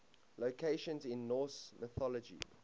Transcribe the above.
locations in norse mythology